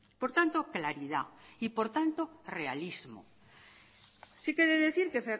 por tanto claridad y por tanto realismo sí que he decir que